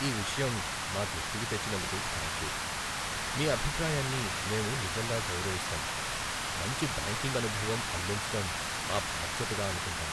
ఈ విషయం మా దృష్టికి తెచ్చినందుకు థాంక్యూ. మీ అభిప్రాయాన్ని మేము నిజంగా గౌరవిస్తాం, మంచి బ్యాంకింగ్ అనుభవం అందించటం మా బాధ్యతగా అనుకుంటాం.